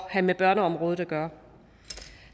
have med børneområdet at gøre